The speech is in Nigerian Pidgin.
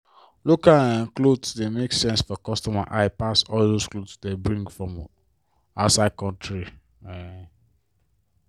local um cloth dey make sense for customer eye pass all dos cloth dey bring from outside country. um